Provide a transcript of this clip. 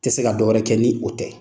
Tɛ se ka dɔ wɛrɛ kɛ ni o tɛ